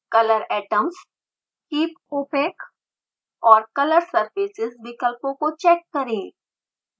color atoms keep opaque और color surfaces विकल्पों को चेक करें